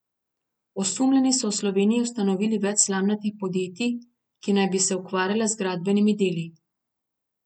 Osumljeni so v Sloveniji ustanovili več slamnatih podjetij, ki naj bi se ukvarjala z gradbenimi deli.